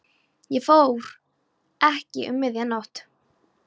Og ég fór ekki um miðja nótt.